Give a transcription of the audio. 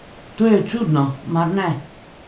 To je čudno, mar ne?